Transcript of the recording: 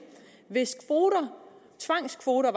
hvis tvangskvoter